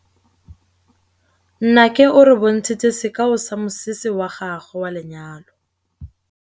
Nnake o re bontshitse sekaô sa mosese wa gagwe wa lenyalo.